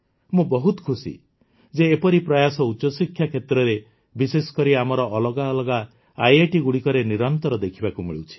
ମୁଁ ବହୁତ ଖୁସି ଯେ ଏପରି ପ୍ରୟାସ ଉଚ୍ଚଶିକ୍ଷା କ୍ଷେତ୍ରରେ ବିଶେଷକରି ଆମର ଅଲଗା ଅଲଗା ଆଇଆଇଟିଗୁଡ଼ିକରେ ନିରନ୍ତର ଦେଖିବାକୁ ମିଳୁଛି